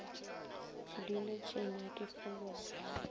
ke duletšeng a ke fologe